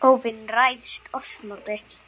óvin ræðst oss móti.